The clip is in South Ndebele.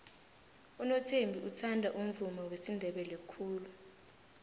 unothembi uthanda umvumo wesindebele khulu